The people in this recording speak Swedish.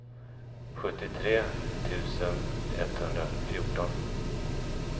sjuttiotre tusen etthundrafjorton